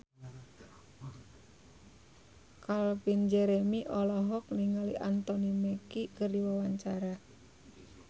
Calvin Jeremy olohok ningali Anthony Mackie keur diwawancara